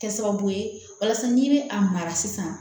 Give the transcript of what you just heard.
Kɛ sababu ye walasa n'i bɛ a mara sisan